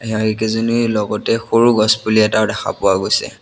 নিহাৰি কেইজনীৰ লগতে সৰু গছপুলি এটাও দেখা পোৱা গৈছে।